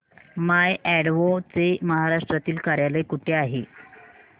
माय Advo चे महाराष्ट्रातील कार्यालय कुठे आहे